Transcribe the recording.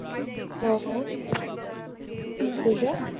हो? नाही ग.